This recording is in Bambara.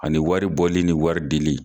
Ani wari bɔli ni wari dili.